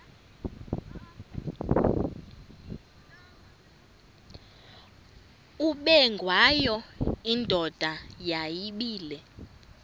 ubengwayo indoda yayibile